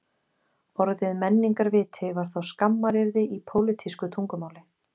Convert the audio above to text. Orðið menningarviti var þá skammaryrði í pólítísku tungumáli